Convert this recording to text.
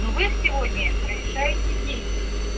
но вы сегодня прорешаете десять